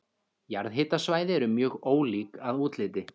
Jarðhitasvæði eru mjög ólík að útliti.